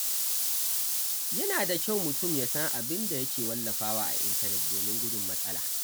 Yana da kyau mutum ya san abin da yake wallafawa a intanet domin gudun matsala.